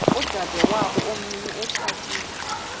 udadewabo omncinci etshatile